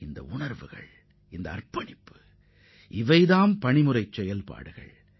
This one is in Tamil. இந்த உணர்வும் அர்ப்பணிப்பும் ஒரு பணி முறை செயல்பாடாகும்